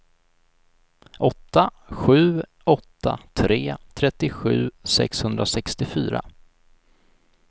åtta sju åtta tre trettiosju sexhundrasextiofyra